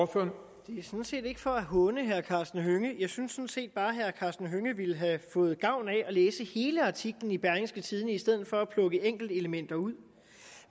for for at håne herre karsten hønge jeg synes set bare at herre karsten hønge ville have fået gavn af at læse hele artiklen i berlingske tidende i stedet for at plukke enkelte elementer ud